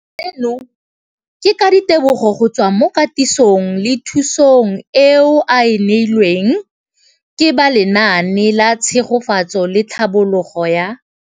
Seno ke ka ditebogo go tswa mo katisong le thu song eo a e neilweng ke ba Lenaane la Tshegetso le Tlhabololo ya